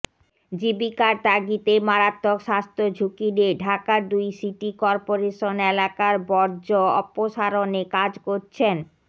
জীবিকার তাগিদে মারাত্মক স্বাস্থ্য ঝুঁকি নিয়ে ঢাকার দুই সিটি কর্পোরেশন এলাকার বর্জ্য অপসারণে কাজ করছেন